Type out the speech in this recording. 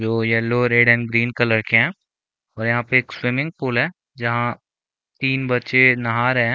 जो yellow red and green colour के है और यहाँ पे एक स्विमिंग पूल है जहाँ तीन बच्चे नहा रहे है।